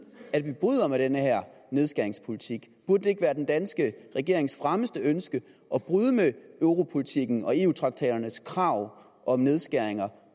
at vi bryder med den her nedskæringspolitik burde det ikke være den danske regerings fremmeste ønske at bryde med europolitikken og eu traktaternes krav om nedskæringer